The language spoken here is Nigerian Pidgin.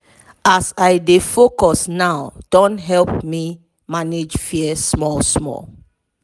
as i dey focus now don help me manage fear small small.